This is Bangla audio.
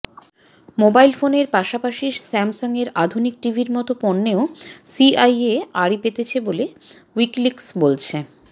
মোবাইল ফোনের পাশাপাশি স্যামসাংয়ের আধুনিক টিভির মতো পণ্যেও সিআইএ আড়ি পেতেছে বলে উইকিলিকস বলছে